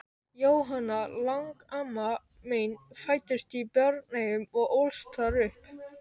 Jóhanna, langamma mín, fæddist í Bjarneyjum og ólst þar upp.